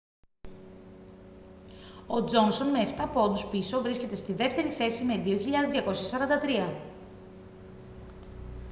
ο τζόνσον με εφτά πόντους πίσω βρίσκεται στη δεύτερη θέση με 2.243